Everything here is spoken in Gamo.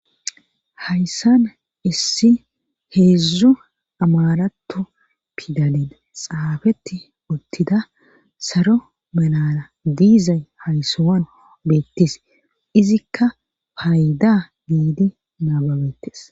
Hayssan issi heedzdzu amarato pidalen xaafeti uttida salo melana diizay haysawan beettis izikka paayda giidi naababetes.